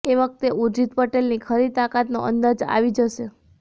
એ વખતે ઊર્જિત પટેલની ખરી તાકાતનો અંદાજ આવી જશે